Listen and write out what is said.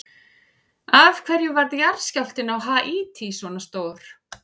Af hverju varð jarðskjálftinn á Haítí svona stór?